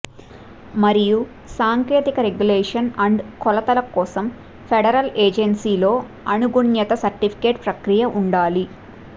మరియు సాంకేతిక regulation and కొలతల కోసం ఫెడరల్ ఏజెన్సీ లో అనుగుణ్యత సర్టిఫికేషన్ ప్రక్రియ ఉండాలి